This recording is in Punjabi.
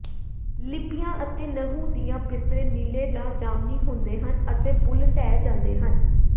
ਲਿੱਪੀਆਂ ਅਤੇ ਨਹੁੰ ਦੀਆਂ ਬਿਸਤਰੇ ਨੀਲੇ ਜਾਂ ਜਾਮਨੀ ਹੁੰਦੇ ਹਨ ਅਤੇ ਬੁੱਲ੍ਹ ਢਹਿ ਜਾਂਦੇ ਹਨ